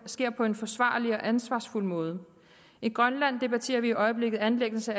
sker på en forsvarlig og ansvarsfuld måde i grønland debatterer vi i øjeblikket anlæggelsen